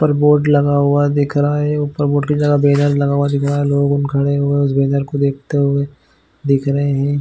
पर बोर्ड लगा हुआ दिख रहा है ऊपर बोर्ड के बैनर जगह दिख रहा है लोग खड़े हुए उस बैनर को देखते हुए दिख रहे है।